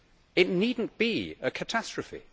It need not be a catastrophe.